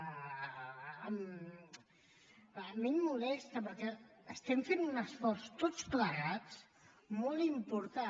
a mi em molesta perquè estem fent un esforç tots plegats molt important